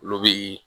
Olu bi